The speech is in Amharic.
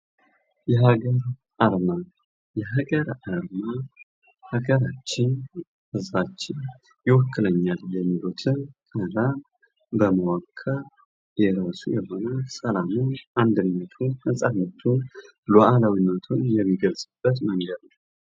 የሀገር አርማ የሀገር አርማ ሀገራችን ህዝባችን ይወክሉኛል የሚሉትን አባል በመወከል የውስጥ የሆነ ሰላምን አንድነትን ነፃነቱን ሉዋላዊነትን የሚገልፅበት መንገድ ነው።